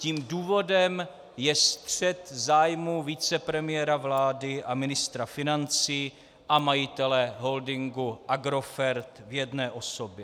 Tím důvodem je střet zájmů vicepremiéra vlády a ministra financí a majitele holdingu Agrofert v jedné osobě.